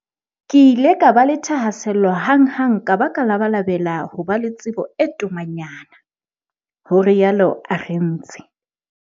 "Ke ile ka ba le thahasello hanghang ka ba ka labalabela ho ba le tsebo e tomanyana," ho rialo Arendse.